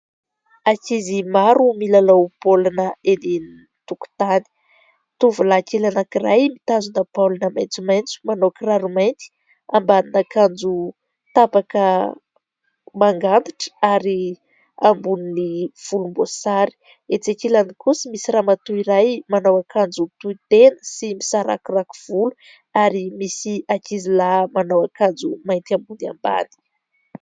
Ankizy maro milalao baolina eny antokontany tovolahy kely anank'iray mitazona baolina maintsomaintso ,manaokiraro mainty ,ambanin'akanjo tapaka, manga antitra, ary amboniny folom-boasary. Etse ankilany kosa misy ramatoa iray manao ankanjo miloko manga sy misarakorako volo ary misy ankizy lahy manao ankanjo mainty ambony sy ambany.